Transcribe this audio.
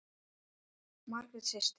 Margrét systir.